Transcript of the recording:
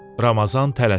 Ramazan tələsirdi.